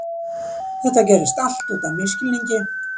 Þetta gerðist allt út af misskilningi.